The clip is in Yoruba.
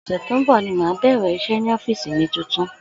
Ò̩sè̩ tó ń bò̩ ni màá bè̩rè̩ is̩é̩ ní ó̩fíìsì mi tuntun